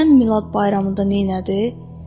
Bilirsən Milad bayramında nəynədi?